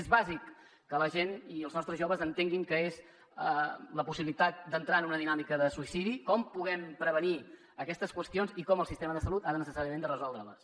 és bàsic que la gent i els nostres joves entenguin què és la possibilitat d’entrar en una dinàmica de suïcidi com podem prevenir aquestes qüestions i com el sistema de salut ha de necessàriament resoldre les